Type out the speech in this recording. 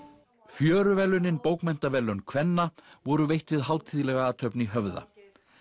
fjöruverðlaunin bókmenntaverðlaun kvenna voru veitt við hátíðlega athöfn í Höfða